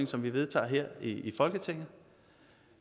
som vi vedtager her i folketinget